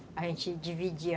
A gente dividia.